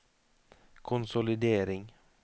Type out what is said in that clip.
konsolidering